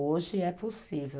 Hoje é possível.